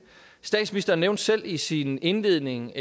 statsministeren nævnte selv i sin indledning